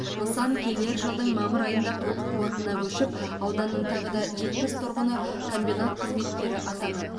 нысан келер жылдың мамыр айында толық қуатына көшіп ауданның тағы да жетпіс тұрғыны комбинат қызметкері атанады